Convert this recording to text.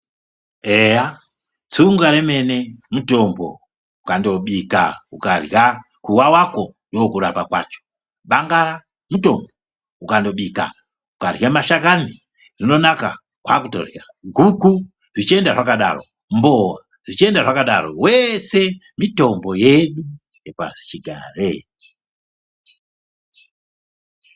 Eya tsunga remene mutombo ukandobika ukarya kuwawako ndokurapa kwacho, bangara mutombo ukandobika ukarya mashakani rinonaka kwaakutorya, guku, zvichienda zvakadaro, mbowa zvichienda zvakadaro weshe mitombo yedu yepasichigare.